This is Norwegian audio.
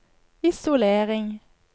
isolering